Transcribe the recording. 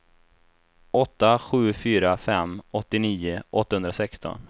åtta sju fyra fem åttionio åttahundrasexton